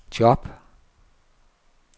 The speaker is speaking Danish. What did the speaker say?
job